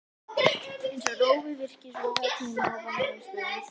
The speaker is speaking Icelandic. Eins og rofið virki, sorfið af tíma og vanrækslu.